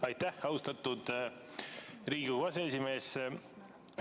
Aitäh, austatud Riigikogu aseesimees!